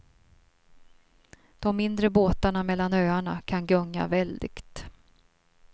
De mindre båtarna mellan öarna kan gunga väldigt.